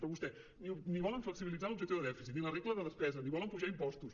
però vostès ni volen flexibilitzar l’objectiu de dèficit ni la regla de despesa ni volen apujar impostos